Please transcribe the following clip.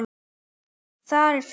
Þar er fjörið.